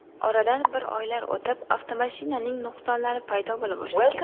Oradan bir oylar o‘tib, avtomashinaning nuqsonlari paydo bo‘la boshlagan.